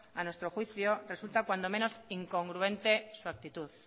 a nuestro juicio resulta cuando menos incongruente su actitud